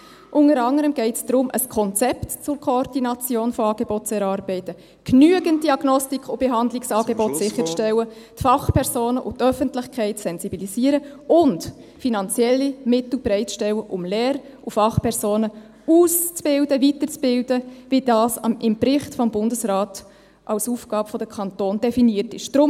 Unter anderem geht es darum, ein Konzept zur Koordination von Angeboten zu erarbeiten, genügend Diagnostik- und Behandlungsangebote sicherzustellen, ...... die Fachpersonen und die Öffentlichkeit zu sensibilisieren und finanzielle Mittel bereitzustellen, um Lehr- und Fachpersonen auszubilden, weiterzubilden, wie das im Bericht des Bundesrats als Aufgabe der Kantone definiert ist.